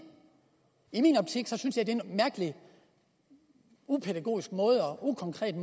i min optik er det en mærkelig upædagogisk og ukonkret